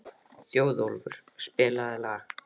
Þjóðólfur, spilaðu lag.